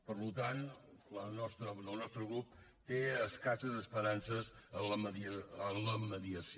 per tant el nostre grup té escasses esperances en la mediació